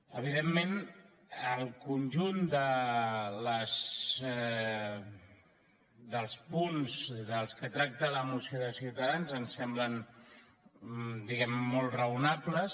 evidentment el conjunt dels punts dels quals tracta la moció de ciutadans ens semblen diguem ne molt raonables